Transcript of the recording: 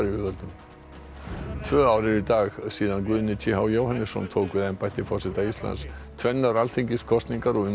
tvö ár eru í dag síðan Guðni t h Jóhannesson tók við embætti forseta Íslands tvennar alþingiskosningar og umdeild mál ásamt